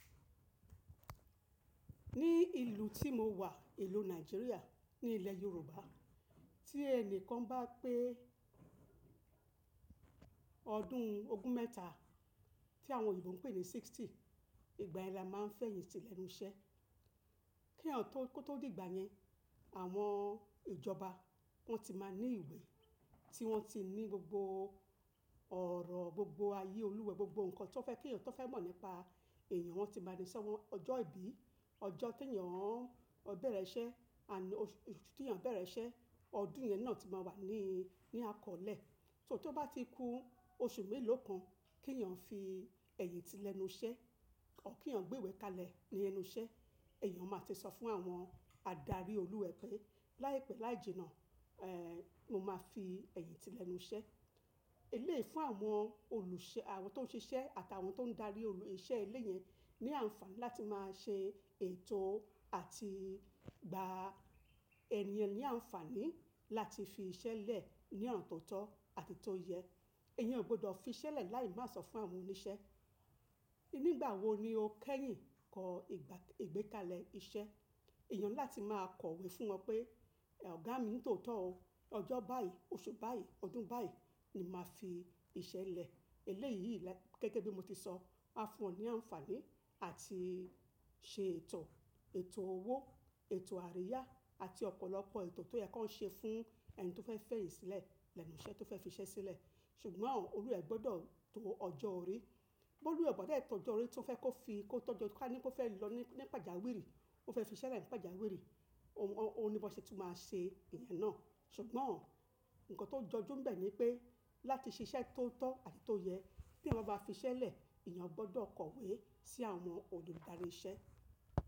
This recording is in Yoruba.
Ní ìlú tí mo wà, ìlú Nàìjíríà ní ilẹ̀ Yorùbá, tí ẹni kan bá pé ọdún ogún mẹ́ta, tí àwọn oyinbo ń pè ní sixty, ìgbà yẹn ni a máa ń fẹ̀yìntì lẹ́nu iṣẹ́. Kí èèyàn tó, kó tó dìgbà yẹn, àwọn ìjọba wọ́n ti máa ní ìwé tí wọ́n ti ní gbogbo ọ̀rọ̀, gbogbo ayé olúwa ee, gbogbo nǹkan tí ó fẹ́ kí èèyàn tó fẹ́ mọ̀ nípa èèyàn wọ́n ti máa ní i sọ́wọ́n. Ọjọ́ ìbí, ọjọ́ tí èèyàn bẹ̀rẹ̀ iṣẹ́, àná oṣù tí èèyàn bẹ̀rẹ̀ iṣẹ́, ọdún yẹn náà ti máa wà ní, ní akọ̀ọ́lẹ̀. Só tó bá ti kú, oṣù mélòó kan kí èèyàn fi ẹ̀yìn ti lẹ́nu iṣẹ́, kí òún kí èèyàn gbé ìwé kalẹ̀ ní ẹnu iṣẹ́. Ẹ̀yàn máa ti sọ fún àwọn adarí olúwa ẹ̀ẹ́ pé láìpẹ́ láijìnáà, ẹ́ẹ̀, mo máa fi ẹ̀yìn ti lẹ́nu iṣẹ́. Eléyìí fún àwọn olùṣẹ́, àwọn tó ń ṣiṣẹ́ àtàwọn tó ń darí olù, iṣẹ́ ilé yẹn ní àǹfààní láti máa ṣe ètò àti gba èèyàn ní àǹfààní láti fi iṣẹ́ lẹ̀ ní ọna tó tọ́ àti tó yẹ. Ẹ̀yàn ò gbọdọ̀ fi iṣẹ́ lẹ̀ láì má sọ fún àwọn oníṣẹ́. Nígbà wo ni o kẹ́yìn kọ ìgbà, ìgbékalẹ̀ iṣẹ́. Ẹ̀yàn ńi lá ti máa kọ̀wé fún wọn pé, ẹ̀, Ọ̀gá mi tó tọ́ o, ọjọ́ báyìí, oṣù báyìí, ọdún báyìí ni màá fi iṣẹ́ lẹ̀. Eléyìí gẹ́gẹ́ bí mo ti sọ, máa fún wọn ní àǹfààní àti ṣe ètò, ètò owó, ètò àríyá àti ọ̀pọ̀lọpọ̀ ètò tó yẹ kó ṣe fún ẹni tó fẹ́ fẹ̀yìntì lẹ́nu iṣẹ́ tó fẹ́ fi iṣẹ́ sílẹ̀. Ṣùgbọ́n àwọn olúwa ẹ̀ẹ́ gbọdọ̀ to ọjọ́ orí. Bó olúwa ẹ̀ẹ́ oo ba dé tò ọjọ́ orí tí ó fẹ́ kó fi, kó tọ́jọ́ kí a ní kó fẹ́ lọ ní, ní pàjáwìrì, ó fẹ́ fi iṣẹ́ lẹ̀ ní pàjáwìrì, òun, òun ni bi wọn ṣe tun máa ṣe ìyẹn náà. Ṣùgbọ́n nǹkan tó jọjú ńbẹ̀ ni pé láti ṣe iṣẹ́ tó tọ́ àti tó yẹ, kí eeyan bá ma fi iṣẹ́ lẹ̀, ẹ̀eyàn gbọdọ̀ kọ̀wé sí àwọn olùdarí iṣẹ́.